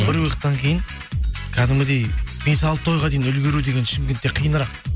бір выходтан кейін кәдімгідей бес алты тойға дейін үлгеру деген шымкентте қиынырақ